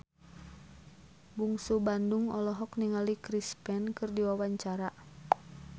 Bungsu Bandung olohok ningali Chris Pane keur diwawancara